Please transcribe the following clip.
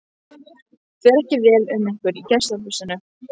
Fer ekki vel um ykkur í gestahúsinu?